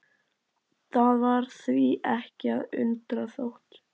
Það var því ekki að undra þótt